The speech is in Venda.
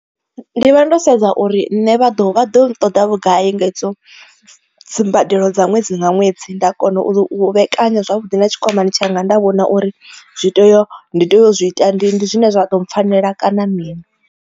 Ndi vha ndo sedza uri nṋe vha ḓo vha ḓo nṱoḓa vhugai nga hedzo dzimbadelo dza ṅwedzi nga ṅwedzi nda kona u vhekanya zwavhuḓi na tshikwamani tshanga nda vhona uri zwi tea ndi tea u zwi ita ndi zwine zwa ḓo mpfhanela kana mini.